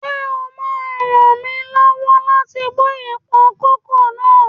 Ṣé o ma ràn mí lọ́wọ́ láti bọ́ èèpo kókò náà?